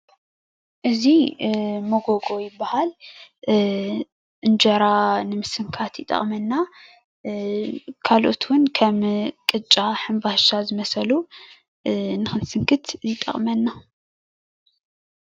እዙይ ሞጎጎ ይባሃል እንጀራ ንምስንካት ይጠቅመና ካልኦት እውን ከም ቅጫ፣ ሕንባሻ ዝመሰሉ ንክንስንክት ይጠቅመና።